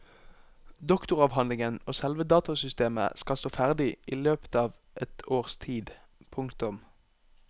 Doktoravhandlingen og selve datasystemet skal stå ferdig i løpet av et års tid. punktum